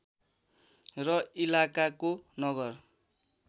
र इलाकाको नगर